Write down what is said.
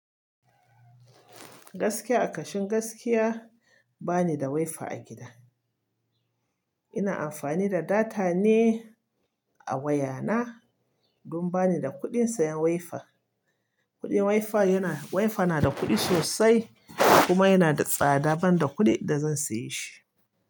Gaskiya a kashin gaskiya bani da WiFi a gida. Ina amfani da data ne a waya na don bani da kuɗin sayan WiFi. Kuɗin WiFi yana, WiFi na da kuɗi sosai kuma yana da tsada ban da kuɗi da zan siye shi.